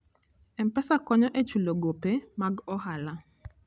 M-Pesa konyo e chulo gope mag ohala.